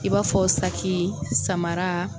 I b'a fɔ saki samara.